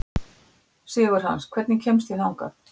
Sigurhans, hvernig kemst ég þangað?